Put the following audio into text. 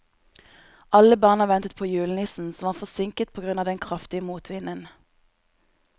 Alle barna ventet på julenissen, som var forsinket på grunn av den kraftige motvinden.